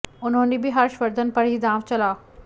उन्होंने भी हर्ष वर्धन पर ही दांव चला